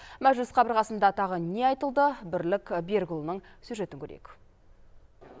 мәжіліс қабырғасында тағы не айтылды бірлік берікұлының сюжетін көрейік